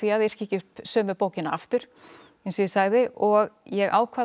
að yrkja ekki sömu bókina aftur eins og ég sagði og ég ákvað að